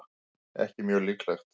ekki mjög líklegt